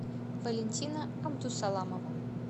валентина абдусаламова